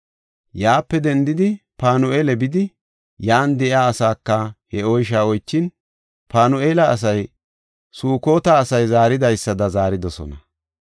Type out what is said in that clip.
Yaape dendidi Panu7eela bidi, yan de7iya asaaka he oysha oychin, Panu7eela asay Sukota asay zaaridaysada zaaridosona.